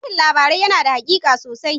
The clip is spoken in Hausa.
Sharhin labarai yana da haƙiƙa sosai.